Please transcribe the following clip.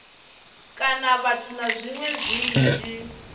kana vhathu na zwiṅwe zwinzhi